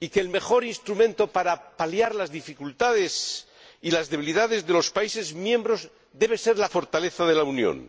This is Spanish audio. y que el mejor instrumento para paliar las dificultades y las debilidades de los Estados miembros debe ser la fortaleza de la Unión.